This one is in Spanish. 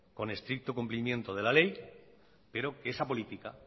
con estricto cumplimiento de la ley pero que esa política